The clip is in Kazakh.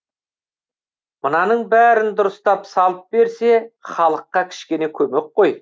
мынаның бәрін дұрыстап салып берсе халыққа кішкене көмек қой